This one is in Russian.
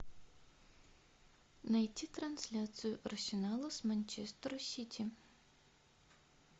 найти трансляцию арсенала с манчестер сити